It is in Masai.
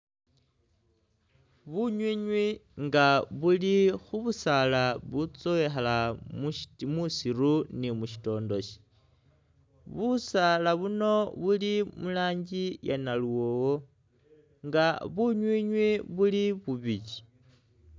Bunywinywi inga buli khubusala butsowekha musiru ni mu shitondoshi busaala buno buli murangi iya naluwowo inga bunywinywi buli bubili.